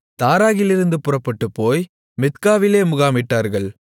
தாராகிலிருந்து புறப்பட்டுப்போய் மித்காவிலே முகாமிட்டார்கள்